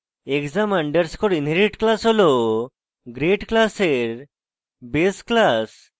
exam underscore inherit class হল grade class base class